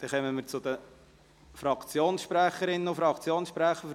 Dann kommen wir zu den Fraktionssprecherinnen und Fraktionssprechern;